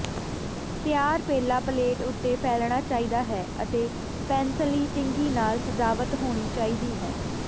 ਤਿਆਰ ਪੇਲਾ ਪਲੇਟ ਉੱਤੇ ਫੈਲਣਾ ਚਾਹੀਦਾ ਹੈ ਅਤੇ ਪੈਨਸਲੀ ਟਿੰਗੀ ਨਾਲ ਸਜਾਵਟ ਹੋਣੀ ਚਾਹੀਦੀ ਹੈ